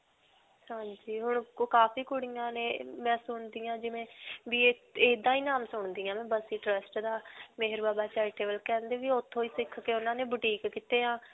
ਹਾਂਜੀ. ਹੁਣ ਕਾਫੀ ਕੁੜੀਆਂ ਨੇ. ਮੈਂ ਸੁਣਦੀ ਹਾਂ ਜਿਵੇਂ ਵੀ ਇਹ ਇਹਦਾ ਹੀ ਨਾਮ ਸੁਣਦੀ ਹਾਂ ਮੈਂ ਬੱਸੀ trust ਦਾ charitable ਕਹਿੰਦੇ ਵੋ ਓਥੋਂ ਸਿਖ ਕੇ ਉਨ੍ਹਾਂ ਨੇ boutique ਕਿਤੇ ਹੈ.